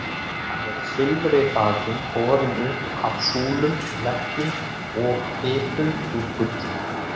Hann er silfri þakinn, borinn upp af súlum, veggjum og bitum úr gulli.